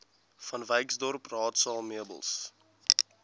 vanwyksdorp raadsaal meubels